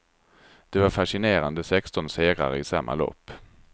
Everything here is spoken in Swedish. Det var fascinerande sexton segrare i samma lopp.